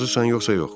Razısan yoxsa yox?